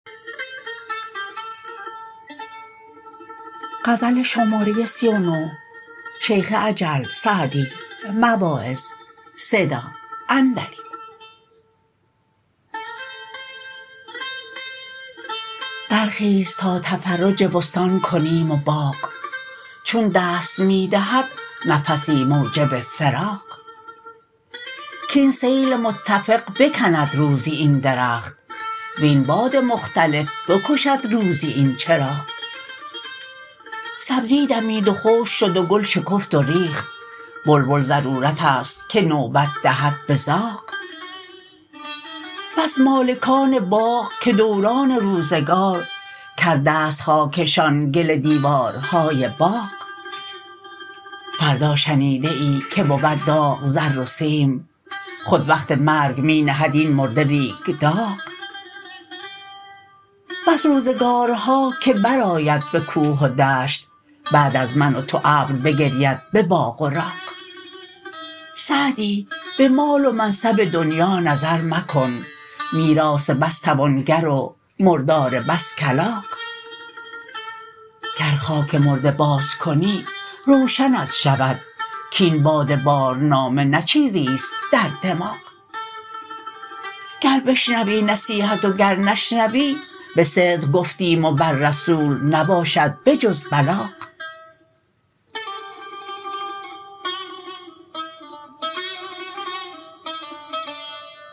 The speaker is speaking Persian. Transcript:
برخیز تا تفرج بستان کنیم و باغ چون دست می دهد نفسی موجب فراغ کاین سیل متفق بکند روزی این درخت وین باد مختلف بکشد روزی این چراغ سبزی دمید و خشک شد و گل شکفت و ریخت بلبل ضرورت است که نوبت دهد به زاغ بس مالکان باغ که دوران روزگار کرده ست خاکشان گل دیوارهای باغ فردا شنیده ای که بود داغ زر و سیم خود وقت مرگ می نهد این مرده ریگ داغ بس روزگارها که برآید به کوه و دشت بعد از من و تو ابر بگرید به باغ و راغ سعدی به مال و منصب دنیا نظر مکن میراث بس توانگر و مردار بس کلاغ گر خاک مرده باز کنی روشنت شود کاین باد بارنامه نه چیزیست در دماغ گر بشنوی نصیحت و گر نشنوی به صدق گفتیم و بر رسول نباشد به جز بلاغ